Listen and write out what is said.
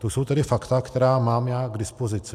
To jsou tedy fakta, která mám já k dispozici.